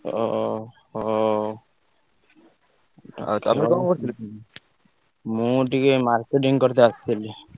ଓ~ ହୋ~! ଆଉ ତମେ ମୁଁ ଟିକେ marketing କରିତେ ଆସିଥିଲି।